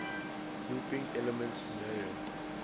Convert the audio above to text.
looping elements mario